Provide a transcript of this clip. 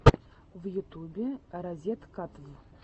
в ютюбе разеткатв